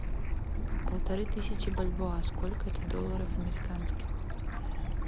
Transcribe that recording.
полторы тысячи бальбоа сколько это долларов американских